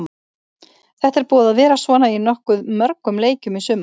Þetta er búið að vera svona í nokkuð mörgum leikjum í sumar.